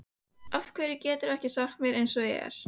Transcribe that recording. Af hverju geturðu ekki sagt mér eins og er?